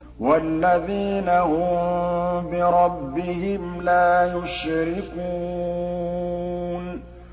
وَالَّذِينَ هُم بِرَبِّهِمْ لَا يُشْرِكُونَ